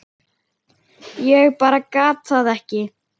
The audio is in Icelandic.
Ég bara gat það ekki.